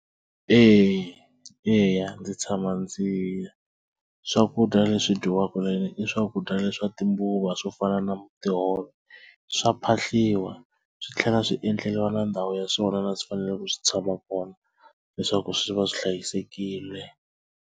Eya eya ndzi tshama ndzi swakudya leswi dyiwaka leni i swakudya leswi swa timbuva va swo fana na tihove swa phahliwa swi tlhela swi endleliwa na ndhawu ya swona na swi fanele ku swi tshama kona leswaku swi va swi hlayisekile.